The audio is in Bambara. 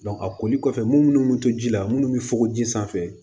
a koli kɔfɛ mun munnu bɛ to ji la munnu bɛ fokoju sanfɛ